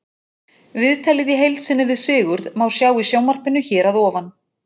Viðtalið í heild sinni við Sigurð má sjá í sjónvarpinu hér að ofan.